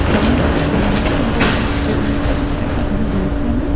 এবং সামনে একটা বড় মূর্তি রয়েছে যেটা কাজী নজরুল ইসলামের।